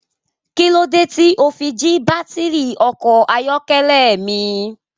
Kí lódé tí o fi jí baátìrì ọkọ̀ ayọ́kẹ́lẹ́ mi?